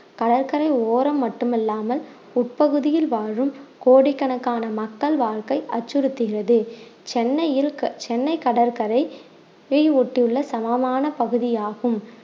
கடற்கரை ஓரம் மட்டுமில்லாமல் உட்பகுதியில் வாழும் கோடிக்கணக்கான மக்கள் வாழ்க்கை அச்சுறுத்துகிறது சென்னையில் க~ சென்னை கடற்கரையை ஒட்டி உள்ள சமமான பகுதியாகும்